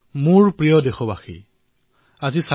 মোৰ মৰমৰ দেশবাসীসকল নমস্কাৰ